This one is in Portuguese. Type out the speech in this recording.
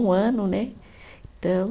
Um ano, né? Então